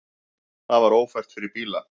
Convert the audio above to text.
Það var ófært fyrir bíla.